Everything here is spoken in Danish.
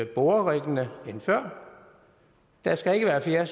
boreriggene end før der skal ikke være flere